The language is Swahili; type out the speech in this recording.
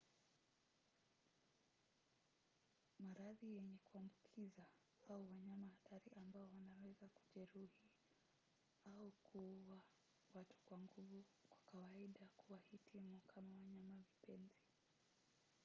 maradhi yenyewe ya kuambukiza au wanyama hatari ambao wanaweza kujeruhi au kuua watu kwa nguvu kwa kawaida hawahitimu kama wanyama-vipenzi